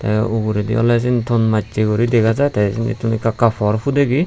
tey uguredi oley sin thon massey guri dega jaai tey ittun ekka ekka por pudegi.